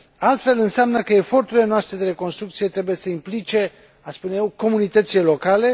Altfel înseamnă că eforturile noastre de reconstrucție trebuie să implice, aș spune eu, comunitățile locale.